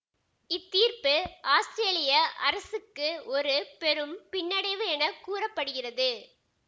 இத்தீர்ப்பு ஆஸ்திரேலிய அரசுக்கு ஒரு பெரும் பின்னடைவு என கூற படுகிறது